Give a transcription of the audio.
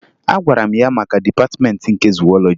Agwara m ya maka Dịpatịmeentị nke Zuwọlọji